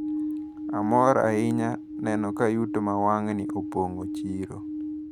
Amor ahinya neno ka yuto ma wang`ni opong`o chiro.